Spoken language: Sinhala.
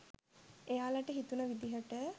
එයාලට හිතුණ විදිහට